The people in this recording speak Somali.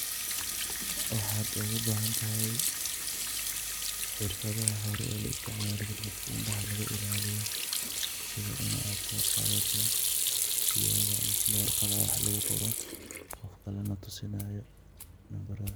Waxat igu bahanthay, xeerfatha hori oo la isticmaloh dadaka indha lagu ilaliyah, setha Ina so Qathatoh, kiyowga mise warqatha lagu Qooroh dadka lamatusinayo numbarahan.